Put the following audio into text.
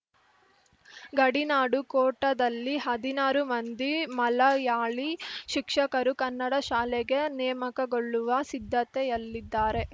ಗಡಿನಾಡು ಕೋಟಾದಲ್ಲಿ ಹದಿನಾರು ಮಂದಿ ಮಲಯಾಳಿ ಶಿಕ್ಷಕರು ಕನ್ನಡ ಶಾಲೆಗೆ ನೇಮಕಗೊಳ್ಳುವ ಸಿದ್ಧತೆಯಲ್ಲಿದ್ದಾರೆ